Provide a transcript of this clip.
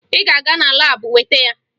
Ị ga-aga na laabụ weta ya!